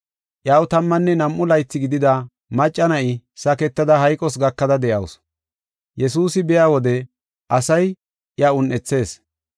Iyaw tammanne nam7u laythi gidida macca na7i saketada hayqos gakada de7awusu. Yesuusi biya wode asay iya un7ethees.